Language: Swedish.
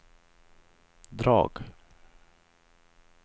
drag